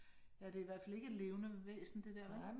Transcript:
Ja, det i hvert fald ikke et levcende væsen det der, vel?